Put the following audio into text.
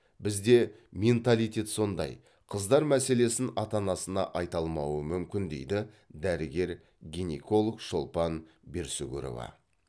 бізде менталитет сондай қыздар мәселесін ата анасына айта алмауы мүмкін дейді дәрігер гинеколог шолпан берсүгірова